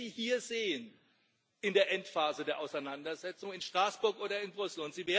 Wir werden Sie hier sehen, in der Endphase der Auseinandersetzung, in Straßburg oder in Brüssel.